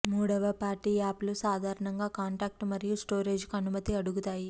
మూడవ party app లు సాధారణంగా కాంటాక్ట్ మరియు స్టోరేజ్ కు అనుమతి అడుగుతాయి